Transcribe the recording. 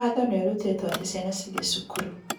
Watho ni ũrutĩtwo atĩ ciana cithiĩ cukuru